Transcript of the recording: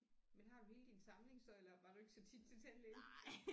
Men har du hele din samling så eller var du ikke så tit til tandlægen